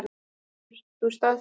Getur þú staðfest þetta?